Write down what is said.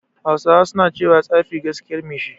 Hausawa suna cewa "Tsafi gaskiyar mai shi"